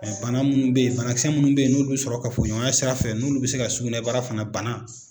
bana munnu bɛ ye banakisɛ minnu bɛ ye n'olu bɛ sɔrɔ kafoɲɔgɔnya sira fɛ n'olu bɛ se ka sugunɛbara fana bana.